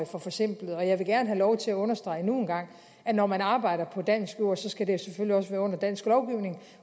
for forsimplet og jeg vil gerne have lov til at understrege endnu en gang at når man arbejder på dansk jord skal det selvfølgelig også være under dansk lovgivning